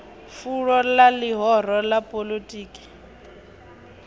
fulo ḽa ḽihoro ḽa poḽotiki